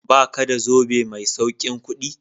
Ba ka da zobe mai saukin kudi?